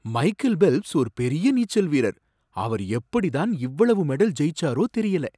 Michael Phelps ஒரு பெரிய நீச்சல் வீரர். அவர் எப்படி தான் இவ்வளவு மெடல் ஜெயிச்சாரோ தெரியல ?